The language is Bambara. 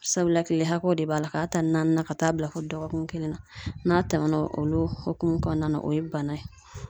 Sabula kile hakɛw de b'a la k'a ta naani na ka taa bila fɔ dɔgɔkun kelen na n'a tɛmɛna o hokumu kɔnɔna na o ye bana ye